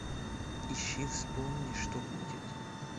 ищи вспомни что будет